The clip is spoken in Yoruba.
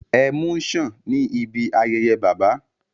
Ẹmu ń ṣàn ní ibi ayẹyẹ Bàbá